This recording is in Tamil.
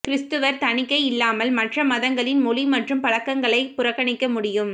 கிரிஸ்துவர் தணிக்கை இல்லாமல் மற்ற மதங்களின் மொழி மற்றும் பழக்கங்களை புறக்கணிக்க முடியும்